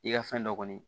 I ka fɛn dɔ kɔni